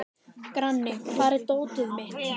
Grani, hvar er dótið mitt?